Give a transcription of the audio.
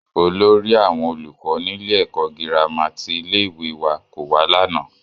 Olórí àwọn olùkọ́ nílé ẹ̀kọ́ gírámà ti ilé-ìwé wa kò wá lánàá.